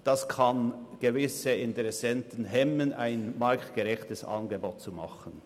Ein solches kann gewisse Interessenten darin hemmen, ein marktgerechtes Angebot zu machen.